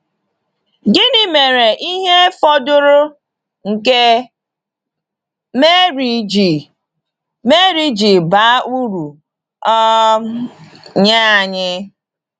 Gịnị mere ihe fọdụrụ nke Màrí ji Màrí ji baa uru um nye anyị?